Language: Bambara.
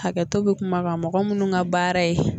Hakɛtɔ bɛ kuma kan mɔgɔ munnu ka baara ye.